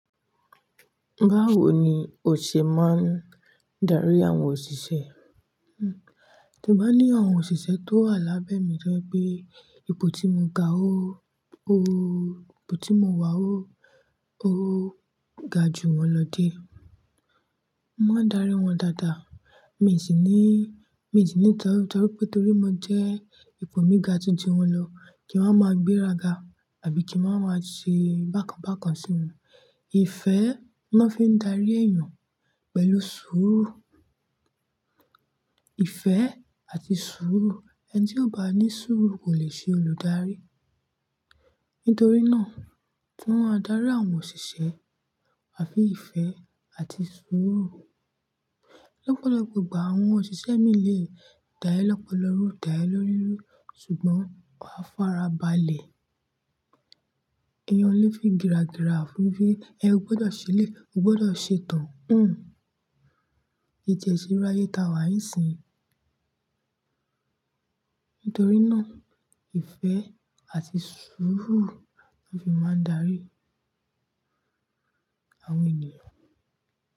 Báwo ni o ṣe máa ń darí àwọn òṣìṣẹ́? Hmm, ti mo bá ní àwọn òṣìṣẹ́ tó wà lábẹ́ mi jẹ́ pé ipò tí mo ga óó, ipò tí mo wà óó ga ju wọ́n lọ díẹ, mo máa ń darí wọ́n dáadáa. Mi sì ní, mi sì ní ìtẹlu pé torí mo jẹ́ ipò mi ga ju ti wọn lọ kí wọ́n máa gbé raga àbí kí wọ́n máa ṣe bákan bákan sí mi. Ìfẹ́ ni wọ́n fi ń darí èèyàn pẹ̀lú sùúrù. Ìfẹ́ àti sùúrù, ẹni tí ò bá ní sùúrù kò lè ṣe olùdarí. Nítorí náà, tí wọ́n a darí àwọn òṣìṣẹ́, wá fi ìfẹ́ àti sùúrù. Lọ́pọ̀lọpọ̀ ìgbà àwọn òṣìṣẹ́ míì lé dá ẹ́ lọ́pọ̀ lórú, dá ẹ́ lórí rú ṣùgbọ́n ó farabalẹ̀. Èèyàn ò lè fi gìràgìrà fún un pé ẹ gbọdọ̀ ṣe lé, o gbọdọ̀ ṣe tán. Hmm, ìjẹ́ṣiráyéta wà ní ìsìn. Nítorí náà ìfẹ́ àti sùúrù ni a fi máa ń darí àwọn ènìyàn.